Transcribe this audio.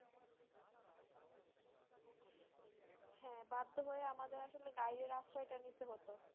হ্যাঁ, বাধ্য হয়ে আমাদের আসলে guide এর আশ্রয় টা নিতে হতো।